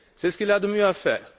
C'est ce qu'il a de mieux à faire.